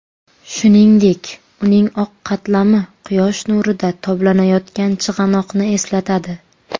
Shuningdek, uning oq qatlami quyosh nurida toblanayotgan chig‘anoqni eslatadi.